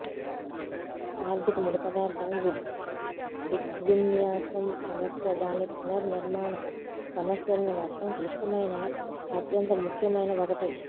ఆర్ధిక ముడి పదార్థం దృగ్విన్యాసం సమస్య దాని పునర్నిర్మాణ సమస్యలను మొత్తం క్లిష్టమైన అత్యంత ముఖ్యమైన ఒకటి